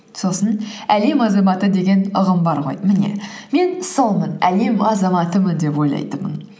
сосың әлем азаматы деген ұғым бар ғой міне мен солмын әлем азаматымын деп ойлайтынмын